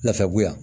Nafɛ bo yan